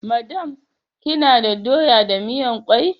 Madam, kina da doya da miyan kwai?